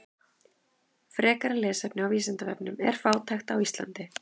Frekara lesefni á Vísindavefnum: Er fátækt á Íslandi?